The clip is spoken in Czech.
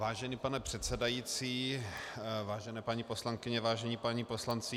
Vážený pane předsedající, vážené paní poslankyně, vážení páni poslanci.